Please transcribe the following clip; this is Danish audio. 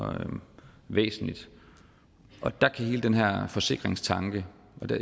væsentligt der er hele den her forsikringstanke